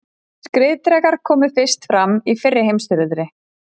Skriðdrekar komu fyrst fram í fyrri heimsstyrjöldinni.